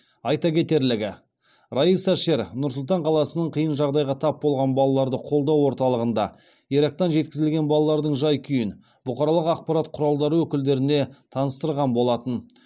айта кетерлігі райса шер нұр сұлтан қаласының қиын жағдайға тап болған балаларды қолдау орталығында ирактан жеткізілген балалардың жай күйін бұқаралық ақпарат құралдары өкілдеріне таныстырған болатын